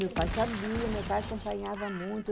Meu pai sabia, meu pai acompanhava muito.